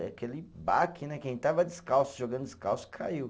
Aquele baque né, quem estava descalço, jogando descalço, caiu.